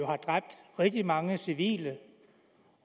har dræbt rigtig mange civile